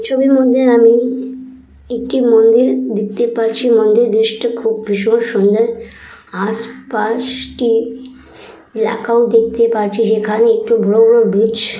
ছবির মধ্যে আমি একটি মন্দির দেখতে পাচ্ছি মন্দির দৃশ্য টা খুব ভীষণ সুন্দর আশপাশ টি ম্যাকাও দেখতে পাচ্ছি যেখানে একটি বড় বড় ব্রিজ।